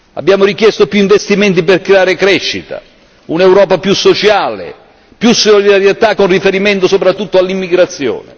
Abbiamo richiesto più investimenti per creare crescita, un'Europa più sociale, più solidarietà con riferimento soprattutto all'immigrazione.